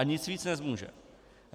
A nic víc nezmůže.